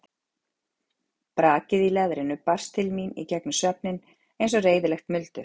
Brakið í leðrinu barst til mín í gegnum svefninn eins og reiðilegt muldur.